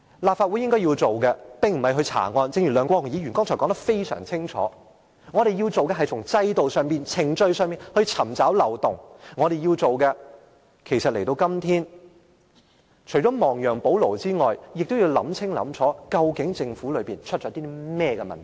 立法會應該做的事情並非查案，正如梁國雄議員剛才也說得十分清楚，我們要做的事情，便是從制度上、程序上尋找漏洞，我們今天要做的事情除了亡羊補牢外，就是要想清楚在政府當中，究竟出了甚麼問題。